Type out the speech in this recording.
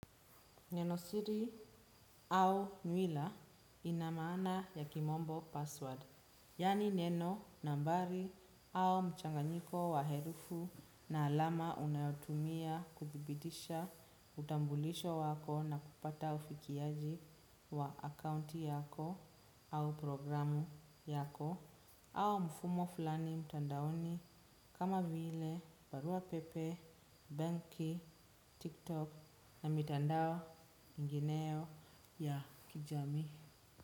Nenosiri au nywila inamaana ya kimombo password, yani neno nambari au mchanganyiko wa herufu na alama unayotumia kudhibitisha utambulisho wako na kupata ufikiaji wa akaunti yako au programu yako. Au mfumo fulani mtandaoni kama vile barua pepe, banki, tiktok na mitandao mingineo ya kijamii.